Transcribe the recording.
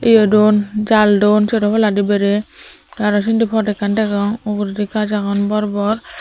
iyodo jaal duon sero palladi berey te aro sindi pod ekkan degong uguredi gajch agon bor bor.